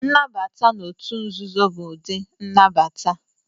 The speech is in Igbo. Nnabata na otu nzuzo bụ ụdị nnabata.